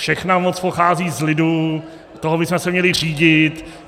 Všechna moc pochází z lidu, tím bychom se měli řídit.